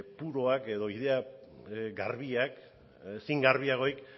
puruak edo ideia garbiak ezin garbiagorik